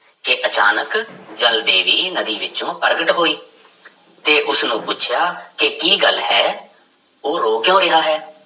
ਕਿ ਅਚਾਨਕ ਜਲ ਦੇਵੀ ਨਦੀ ਵਿੱਚੋਂ ਪ੍ਰਗਟ ਹੋਈ ਤੇ ਉਸਨੂੰ ਪੁੱਛਿਆ ਕਿ ਕੀ ਗੱਲ ਹੈ ਉਹ ਰੋ ਕਿਉਂ ਰਿਹਾ ਹੈ।